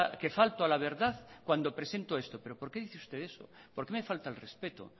que falto a la verdad cuando presento esto pero por qué usted dice eso por qué me falta al respeto